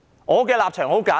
我的立場十分簡單。